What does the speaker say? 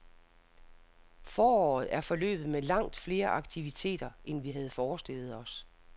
Foråret er forløbet med langt flere aktiviteter, end vi havde forestillet os.